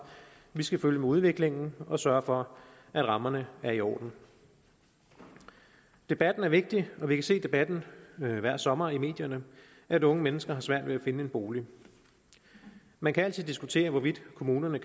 vi skal følge med udviklingen og sørge for at rammerne er i orden debatten er vigtig og vi kan se af debatten hver sommer i medierne at unge mennesker har svært ved at finde en bolig man kan altid diskutere hvorvidt kommunerne